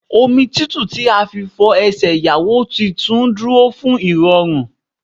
Omi tútù tí a fi ń fọ Ẹsẹ̀ Ìyàwó tuntun dúró fún ìrọ̀rùn.